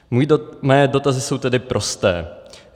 Mé dotazy jsou tedy prosté.